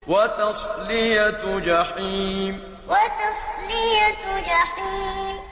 وَتَصْلِيَةُ جَحِيمٍ وَتَصْلِيَةُ جَحِيمٍ